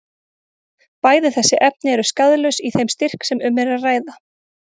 Bæði þessi efni eru skaðlaus í þeim styrk sem um er að ræða.